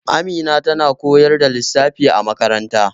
Amina tana koyar da lissafi a makaranta